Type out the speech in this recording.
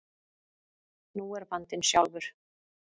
Nú er vandinn sjálfur.